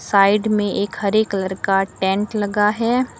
Side में एक हरे कलर का टेंट लगा है।